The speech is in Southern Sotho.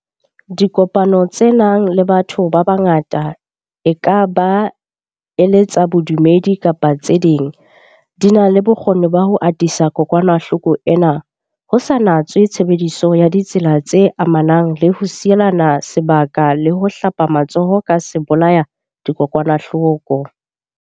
Dipokano tse nang le batho ba bangata, e ka ba e le tsa bodumedi kapa tse ding, di na le bokgoni ba ho atisa kokwanahloko ena, ho sa natswe tshebediso ya ditsela tse amanang le ho sielana se baka le ho hlapa matsoho ka sebolaya-dikokwanahloko.